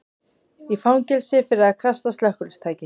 Í fangelsi fyrir að kasta slökkvitæki